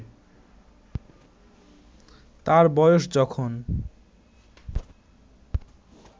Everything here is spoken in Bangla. তার বয়স যখন